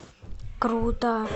круто